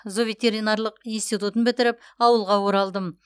зооветеринарлық институтын бітіріп ауылға оралдым